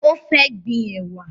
O fẹ́ gbin ẹwà